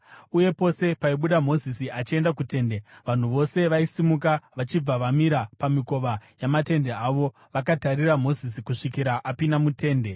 Uye pose paibuda Mozisi achienda kutende, vanhu vose vaisimuka vachibva vamira pamikova yamatende avo, vakatarira Mozisi kusvikira apinda mutende.